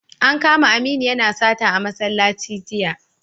An kama Aminu yana sata a masallaci jiya